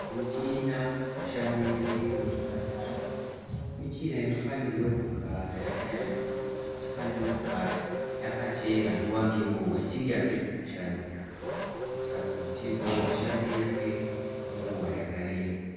Michina inoshandiswa muzvipatara michina unofanire kugara yakashambidzikaichifanira kugara yakachena nguwa nenguwai kana ichinge yapedza kushandiswa kuitira kuti igone kushandiswa kwenguva yakareba.